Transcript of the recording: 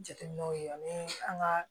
Jateminɛw ye yan ni an ka